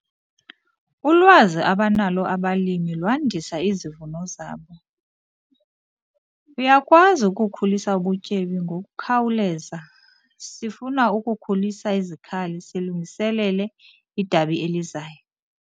Ulwazi abanalo abalimi lwandisa izivuno zabo. uyakwazi ukukhulisa ubutyebi ngokukhawuleza, sifuna ukukhulisa izikhali silungiselele idabi elizayo